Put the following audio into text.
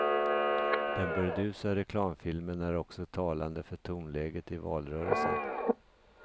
Den burdusa reklamfilmen är också talande för tonläget i valrörelsen.